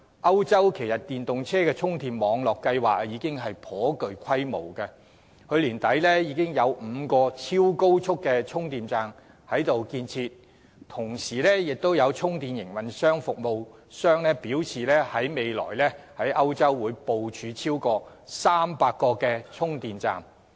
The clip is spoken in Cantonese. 歐洲的電動車充電網絡計劃已頗具規模，去年年底有5個超高速充電站正在建設，同時有充電服務營運商表示，未來會在歐洲部署超過300個充電站。